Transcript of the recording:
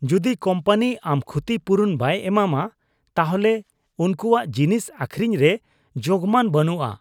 ᱡᱩᱫᱤ ᱠᱳᱢᱯᱟᱱᱤ ᱟᱢ ᱠᱷᱚᱛᱤᱼᱯᱩᱨᱚᱱ ᱵᱟᱭ ᱮᱢᱟᱢᱟ, ᱛᱟᱦᱚᱞᱮ ᱩᱱᱠᱩᱣᱟᱜ ᱡᱤᱱᱤᱥ ᱟᱹᱠᱷᱨᱤᱧ ᱨᱮ ᱡᱳᱜᱢᱟᱱ ᱵᱟᱹᱱᱩᱜᱼᱟ ᱾